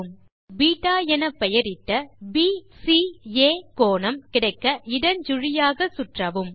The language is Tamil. இம்முறை பெட்டா என பெயரிட்ட பிசிஏ கோணம் கிடைக்க இடஞ்சுழியாக சுற்றவும்